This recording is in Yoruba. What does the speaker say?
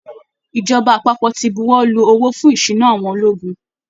Ìjọba àpapọ̀ ti buwọ́ lu owó fún ìsúná àwọn ológun